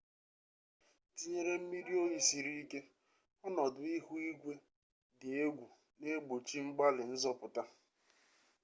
tinyere mmiri oyi siri ike ọnọdụ ihu igwe dị egwu na egbochi mgbalị nzọpụta